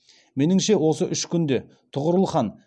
меніңше осы үш күнде тұғырыл хан